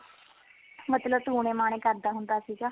ਮਤਲਬ ਟੂਣੇ ਮਾਣੇ ਕਰਦਾ ਹੁੰਦਾ ਸੀਗਾ